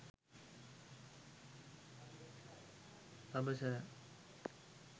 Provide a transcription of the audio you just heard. pabasara